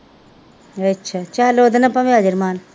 ਅੱਛਾ ਚੱਲ ਉਹਦੇ ਨਾਲ ਭਾਵੇਂ ਆ ਜਾਏ ਅਰਮਾਨ